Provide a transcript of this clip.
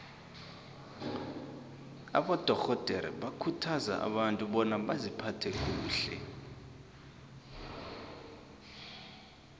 abadorhodere bakhuthaza abantu bona baziphathe kuhle